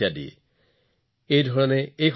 বৃন্দ খৰ্বো নিখৰ্বঃ চ শঙ্খঃ পদ্মঃ চ সাগৰঃ